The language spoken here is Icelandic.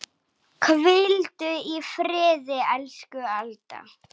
Hvíldu í friði, elsku Alda.